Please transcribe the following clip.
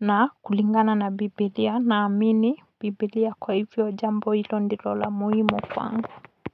na kulingana na Bibilia naamini Bibilia kwa hivyo jambo hilo ndilo la muhimu kwangu.